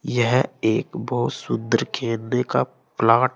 यह एक बहुत सुंदर खेलने का प्लॉट है।